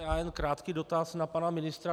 Já jen krátký dotaz na pana ministra.